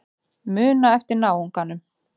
Muna eftir náunganum.